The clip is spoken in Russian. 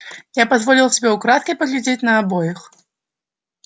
я позволил себе украдкой поглядеть на обоих